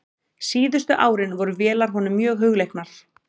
Síðustu árin voru vélar honum mjög hugleiknar.